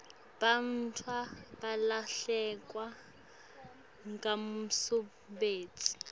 bantfu balahlekelwa ngumsebenti